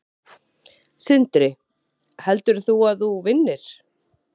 Sindri: Heldur þú að þú vinnir?